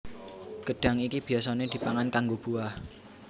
Gedhang iki biyasané dipangan kanggo buah